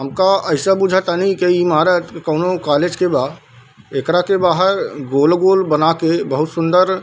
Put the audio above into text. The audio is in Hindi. हमका ऐसे बुझ तानी की ईमारत कोनो कॉलेज के बा | एकरा के बाहर गोल-गोल बना के बहुत सुन्दर --